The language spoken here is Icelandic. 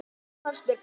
Það fannst mér gott.